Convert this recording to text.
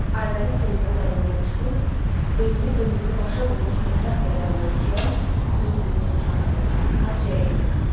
Aybəniz Seymurun əlindən çıxıb, özünü ömrünü başa vurmuş mətbəx mebelinə oxşayan, (sözün düzü heç oxşamırdı) taxçaya yetirdi.